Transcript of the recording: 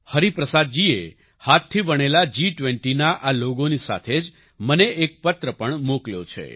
હરિપ્રસાદ જીએ હાથથી વણેલા જી20ના આ લોગોની સાથે જ મને એક પત્ર પણ મોકલ્યો છે